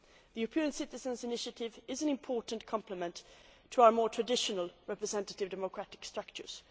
Union. The European Citizens' Initiative is an important complement to our more traditional representative democratic structures.